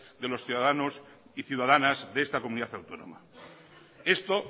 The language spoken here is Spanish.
de los ciudadanos y ciudadanas de esta comunidad autónoma esto